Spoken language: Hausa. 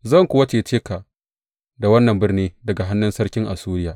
Zan kuwa cece ka da wannan birni daga hannun sarkin Assuriya.